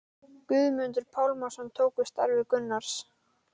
Guðmundur Pálmason tók við starfi Gunnars